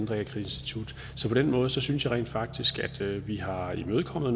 realkreditinstitut så på den måde synes jeg rent faktisk at vi har imødekommet